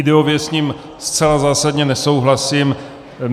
Ideově s ním zcela zásadně nesouhlasím.